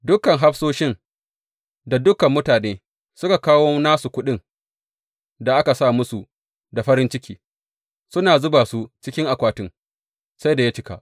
Dukan hafsoshi da dukan mutane suka kawo nasu kuɗin da aka sa musu da farin ciki, suna zuba su cikin akwatin sai da ya cika.